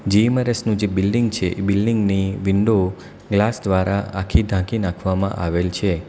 જીમરસનું જે બિલ્ડીંગ છે એ બિલ્ડીંગની વિન્ડો ગ્લાસ દ્વારા આખી ઢાંકી નાખવામાં આવેલી છે.